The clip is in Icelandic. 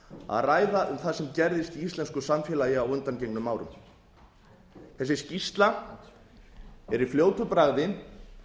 að ræða um það sem gerðist í íslensku samfélagi á undangengnum árum þessi skýrsla er í fljótu bragði